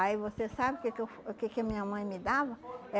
Aí você sabe o que que eu o que que minha mãe me dava?